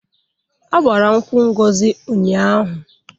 A gbara nkwụ Ngozi ụnyaahụ.